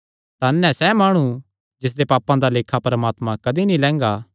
धन ऐ सैह़ माणु जिसदे पापां दा लेखा परमात्मा कदी नीं लैंगा